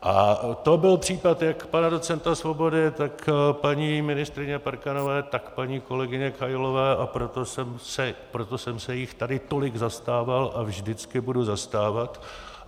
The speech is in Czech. A to byl případ jak pana docenta Svobody, tak paní ministryně Parkanové, tak paní kolegyně Kailové, a proto jsem se jich tady tolik zastával a vždycky budu zastávat.